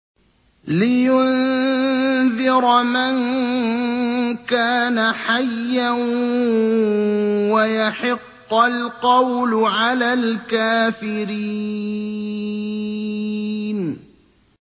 لِّيُنذِرَ مَن كَانَ حَيًّا وَيَحِقَّ الْقَوْلُ عَلَى الْكَافِرِينَ